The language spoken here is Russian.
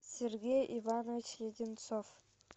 сергей иванович леденцов